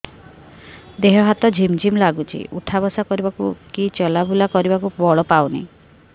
ଦେହେ ହାତ ଝିମ୍ ଝିମ୍ ଲାଗୁଚି ଉଠା ବସା କରିବାକୁ କି ଚଲା ବୁଲା କରିବାକୁ ବଳ ପାଉନି